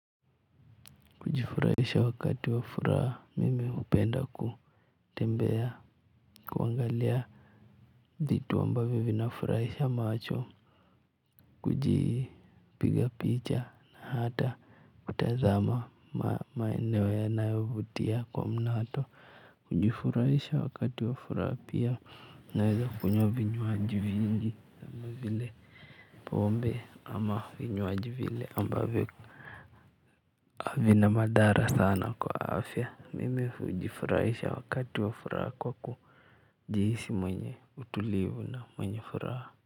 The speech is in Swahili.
Kujifurahisha wakati wa furaha mimi hupenda kutembea kuangalia vitu ambavyo vinafurahisha macho kujipiga picha na hata kutazama maeneo yanayovutia kwa mnato kujifurahisha wakati wa furaha pia naweza kunywa vinywaji vingi kama vile pombe ama vinywaji vile ambavyo havina madhara sana kwa afya mimi hujifurahisha wakati wa furaha kwa kujihisi mwenye utulivu na mwenye furaha.